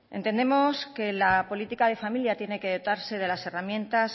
entendemos que la política de familia tiene que dotarse de las herramientas